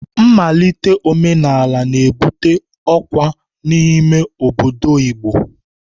Nmalite omenala na-ebute ọkwa n'ime obodo Igbo.